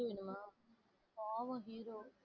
பாவம் hero